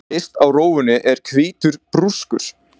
Yst á rófunni er hvítur brúskur.